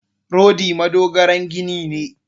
Rodi madogaran gini ne.